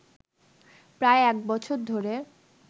প্রায় এক বছর ধরে